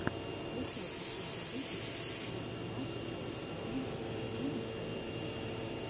включай последний выпуск зе тунайт шоу старринг джимми фэллона